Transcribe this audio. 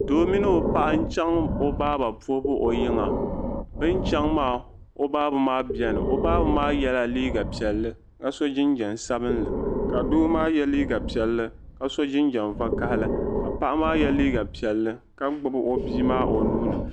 Doo mini o paɣa chaŋ o baaba puhibu o yiŋa bi ni chaŋ maa o baaba maa bɛni o baaba yela liiga piɛlli ka so jinjam sabinli ka doo maa yɛ liiga piɛlli ka so jinjam vakahili ka paɣa maa yɛ liiga piɛlli ka gbubi o bia maa o nuuni.